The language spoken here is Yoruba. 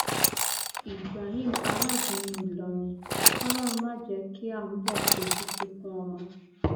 ibrahim alágúnmu ìlọrin kòlórun má jẹ kí àáḿbò fojú sunkún ọmọ